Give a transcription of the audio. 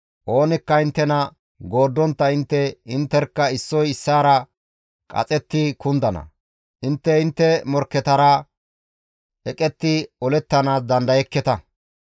Oonikka inttena gooddontta intte intterkka issoy issaara qaxetti kundana; intte intte morkketara eqetti olettanaas dandayekketa.